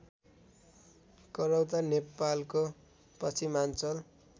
करौता नेपालको पश्चिमाञ्चल